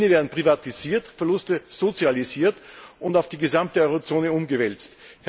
Gewinne werden privatisiert, Verluste sozialisiert und auf die gesamte Eurozone umgewälzt.